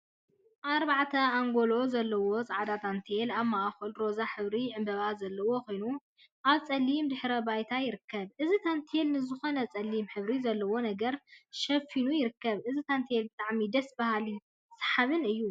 አርባዕተ አንጎሎ ዘለዎ ፃዕዳ ታንቴል አብ ማእከሉ ሮዛ ሕብሪ ዕምበባ ዘለዎ ኮይኑ አብ ፀሊም ድሕረ ባይታ ይርከብ። እዚ ታንቴል ንዝኮነ ፀሊም ሕብሪ ዘለዎ ነገር ሸፊኑ ይርከብ። እዚ ታንቴል ብጣዕሚ ደስ በሃሊን ሰሓባይን እዩ።